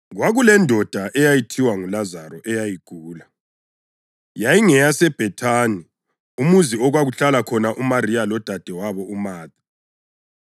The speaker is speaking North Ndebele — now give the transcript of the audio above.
Kwakulendoda eyayithiwa nguLazaro eyayigula. YayingeyaseBhethani, umuzi okwakuhlala khona uMariya lodadewabo uMatha.